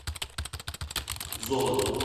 золото